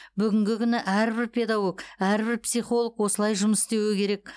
бүгінгі күні әрбір педагог әрбір психолог осылай жұмыс істеуі керек